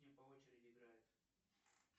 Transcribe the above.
и по очереди играет